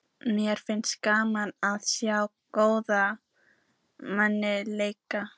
Mér finnst gaman að sjá góðan mann leika.